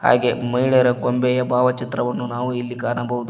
ಹಾಗೆ ಮಹಿಳೆಯರ ಗೊಂಬೆಯ ಭಾವಚಿತ್ರವನ್ನು ನಾವು ಇಲ್ಲಿ ಕಾಣಬಹುದು.